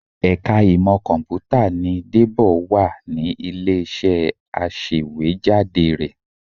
Ẹ̀ka ìmọ Kọ̀m̀pútà ni Débọ̀ wà ní ilé-iṣẹ́ aṣèwéjádé rẹ